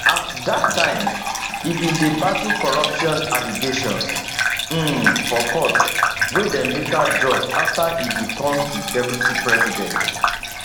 at dat time e bin dey battle corruption allegations um for court wey dem later drop after e become di deputy president